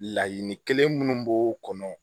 Laɲini kelen minnu b'o kɔnɔ